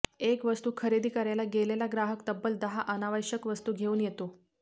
एक वस्तू खरेदी करायला गेलेला ग्राहक तब्बल दहा अनावश्यक वस्तू घेऊन येतो